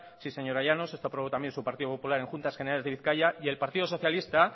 sí señora llanos esto aprobó también su partido popular en juntas generales de bizkaia y el partido socialista